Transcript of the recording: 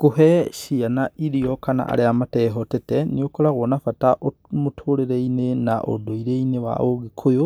Kũhe ciana irio, kana arĩa matehotete nĩũkoragwo na bata ũ mũtũrĩreinĩ na ũndũire-inĩ wa ũgĩkũyũ,